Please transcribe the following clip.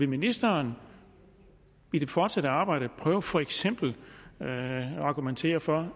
ministeren i det fortsatte arbejde prøve for eksempel at argumentere for